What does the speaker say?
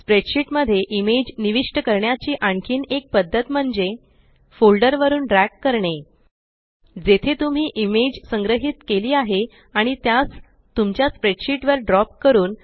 spreadsheet मध्ये image निविष्ट करण्याची आणखीन एक पद्धत म्हणजे फोल्डर वरुन ड्रॅग करणे जेथे तुम्ही इमेज संग्रहीत केली आहे आणि त्यास तुमच्या स्प्रेडशीट वर ड्रॉप करून